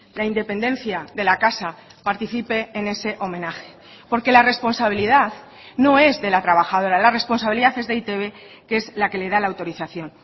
la independencia de la casa participe en ese homenaje porque la responsabilidad no es de la trabajadora la responsabilidad es de e i te be que es la que le dala autorización